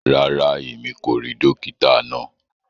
Ràrá, ẹ̀mi kò ríì dòkìtà naa.